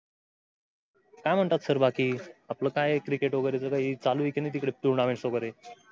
काय म्हणत्यात सर बाकी आपल काय क्रिकेट वगेरे चालू आहे कि नही? tournaments वगेरे?